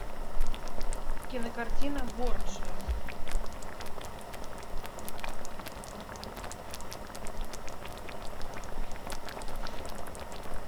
кинокартина борджиа